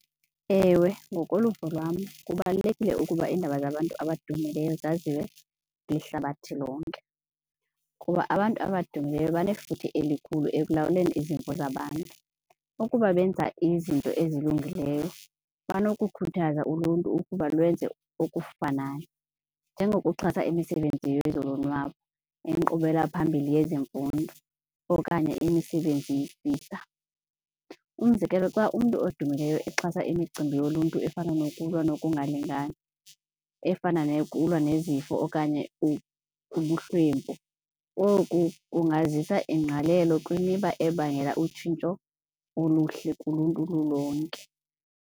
Ewe, ngokoluvo lwam kubalulekile ukuba iindaba zabantu abadumileyo zaziwe lihlabathi lonke kuba abantu abadumileyo banefuthe elikhulu ekulawuleni izimvo zabantu. Ukuba benza izinto ezilungileyo banokukhuthaza uluntu ukuba lwenze okufanayo njengokuxhasa imisebenzini yezolonwabo, inkqubelaphambili yezemfundo okanye imisebenzi . Umzekelo xa umntu odumileyo exhasa imicimbi yoluntu efana nokulwa nokungalingani, efana neyokulwa nezifo okanye ubuhlwempu, oku kungazisa ingqalelo kwimiba ebangela utshintsho oluhle kuluntu lulonke.